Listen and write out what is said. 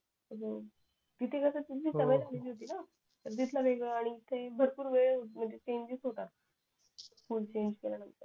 हम्म तिथे कस सवय झालेली ना इथे भरपूर वेळ म्णजे चेंजेस होतात फोने चेंज केला